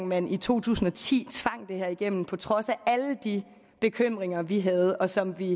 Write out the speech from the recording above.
man i to tusind og ti tvang det her igennem på trods af alle de bekymringer vi havde og som vi